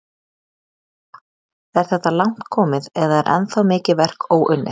Lóa: Er þetta langt komið eða er ennþá mikið verk óunnið?